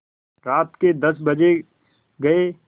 रात के दस बज गये